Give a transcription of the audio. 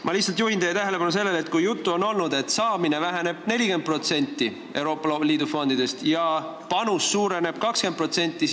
Ma lihtsalt juhin teie tähelepanu sellele, et on jutuks olnud, et Euroopa Liidu fondidest raha saamine väheneb 40% ja meie panus suureneb 20%.